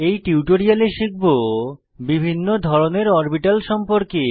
এই টিউটোরিয়ালে শিখব বিভিন্ন ধরনের অরবিটাল সম্পর্কে